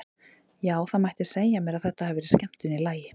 Já, það mætti segja mér að það hafi verið skemmtun í lagi!